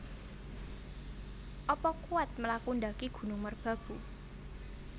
Apa kuwat mlaku ndaki Gunung Merbabu